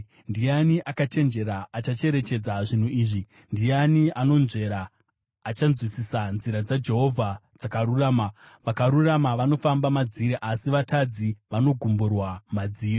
Ndiani akachenjera? Achacherechedza zvinhu izvi. Ndiani anonzvera? Achazvinzwisisa. Nzira dzaJehovha dzakarurama; vakarurama vanofamba madziri, asi vatadzi vanogumburwa madziri.